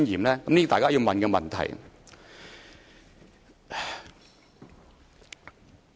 這是大家要問的問題。